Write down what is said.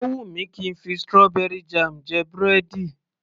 Ó wù mí kí ń fi strawberry jam jẹ búrẹ́dì